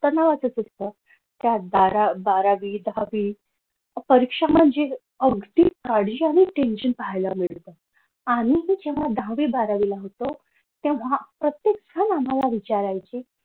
तणावाचं fix हाय त्या बारावी दहावी परीक्षा म्हणजे अगदी tension पाहायला मिळते आम्हीही जेव्हा दहावी बारावीला होतो तेव्हा प्रत्येकजण आम्हाला विचारायचे.